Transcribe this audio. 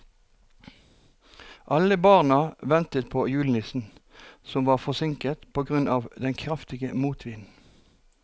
Alle barna ventet på julenissen, som var forsinket på grunn av den kraftige motvinden.